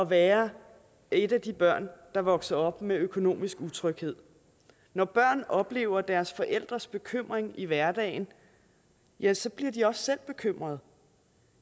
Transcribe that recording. være et af de børn der vokser op med økonomisk utryghed når børn oplever deres forældres bekymring i hverdagen ja så bliver de også bekymrede